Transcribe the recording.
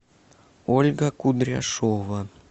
ольга кудряшова